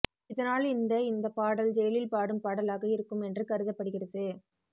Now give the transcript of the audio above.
இதனால் இந்தக் இந்த பாடல் ஜெயிலில் பாடும் பாடலாக இருக்கும் என்று கருதப்படுகிறது